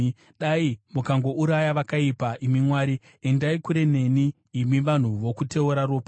Dai mukangouraya vakaipa, imi Mwari! Endai kure neni, imi vanhu vokuteura ropa!